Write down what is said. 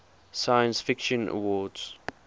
science fiction awards